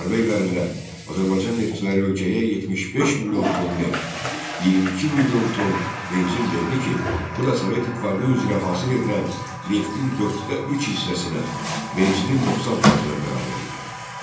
Müharibə illərində Azərbaycan neftçiləri ölkəyə 75 milyon ton neft, 22 milyon ton benzin verdi ki, bu da Sovet İttifaqı üzrə hasil edilən neftin dörddə üç hissəsinə, benzinin 90 faizinə bərabər idi.